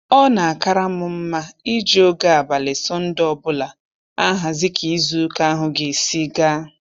Ọ na-akara m mma iji oge abalị Sọnde ọbụla ahazi ka izu ụka ahụ ga-esi gaa